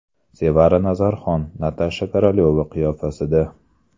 Sevara Nazarxon Natasha Korolyova qiyofasida.